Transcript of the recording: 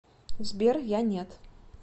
сбер я нет